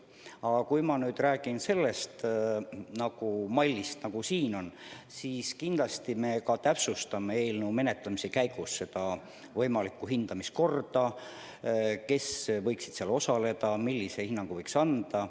Aga kui ma räägin sellest mallist, nagu siin kirjas on, siis kindlasti me täpsustame eelnõu menetlemise käigus võimalikku hindamiskorda, seda, kes võiksid selles osaleda, millise hinnangu võiks anda.